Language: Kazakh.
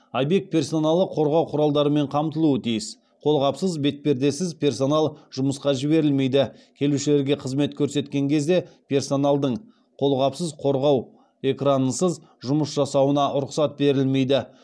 объект персоналы қорғау құралдарымен қамтылуы тиіс қолғапсыз бетпердесіз персонал жұмысқа жіберілмейді келушілерге қызмет көрсеткен кезде персоналдың қолғапсыз қорғау экранынсыз жұмыс жасауына рұқсат берілмейді